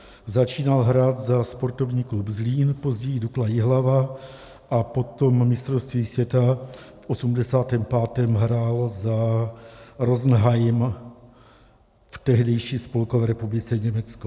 Začínal hrát za Sportovní klub Zlín, později Dukla Jihlava a po mistrovství světa v osmdesátém pátém hrál za Rosenheim v tehdejší Spolkové republice Německo.